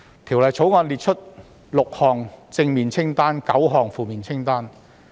《條例草案》列出6項正面清單及9項負面清單。